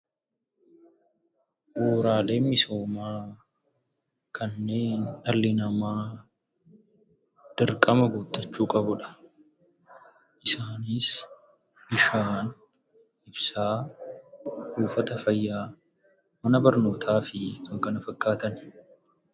Bu'uuraaleen misoomaa kanneen dhalli namaa dirqama guuttachuu qabudha. Isaanis bishaan, ibsaa, buufata fayyaa, mana barnootaa fi kan kana fakkaatani.